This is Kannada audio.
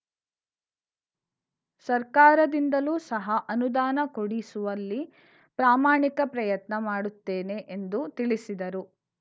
ಸರ್ಕಾರದಿಂದಲೂ ಸಹ ಅನುದಾನ ಕೊಡಿಸುವಲ್ಲಿ ಪ್ರಾಮಾಣಿಕ ಪ್ರಯತ್ನ ಮಾಡುತ್ತೇನೆ ಎಂದು ತಿಳಿಸಿದರು